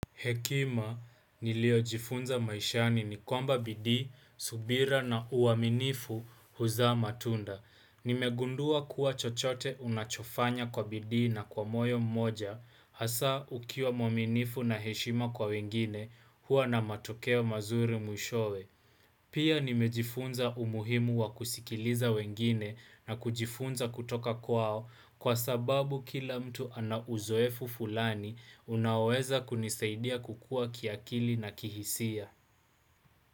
Hekima niliojifunza maishani ni kwamba bidii, subira na uaminifu huzaa matunda. Nimegundua kuwa chochote unachofanya kwa bidii na kwa moyo mmoja, hasa ukiwa mwaminifu na heshima kwa wengine, huwa na matokeo mazuri mwishowe. Pia nimejifunza umuhimu wa kusikiliza wengine na kujifunza kutoka kwao kwa sababu kila mtu ana uzoefu fulani unaoweza kunisaidia kukua kiakili na kihisia.